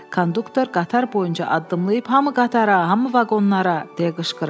Konduktor qatar boyunca addımlayıb: "Hamı qatara, hamı vaqonlara!", - deyə qışqırırdı.